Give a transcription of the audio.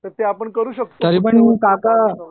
तर ते आपण करू शकतो